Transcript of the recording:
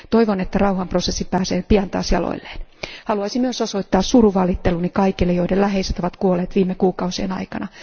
Toivon, että rauhanprosessi pääsee pian taas jaloilleen. Haluaisin myös osoittaa surunvalitteluni kaikille, joiden läheiset ovat kuolleet viime kuukausien aikana.